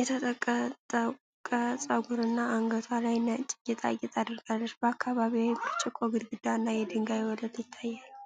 የተጠቀጠቀ ፀጉር እና አንገቷ ላይ ነጭ ጌጣጌጥ አድርጋለች። በአካባቢዋ የብርጭቆ ግድግዳና የድንጋይ ወለል ይታያል።